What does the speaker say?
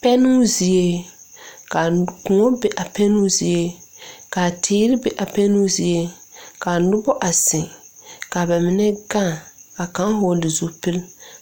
Pɛnoo zie kaa kõɔ be a pɛnoo zie kaa teere be a pɛnoo zie kaa nobɔ a zeŋ ka ba mine gaŋ kaa kaŋ hɔɔle zupil